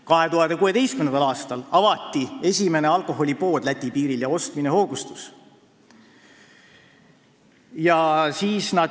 2016. aastal avati Läti piiril esimene alkoholipood ja ostmine hoogustus.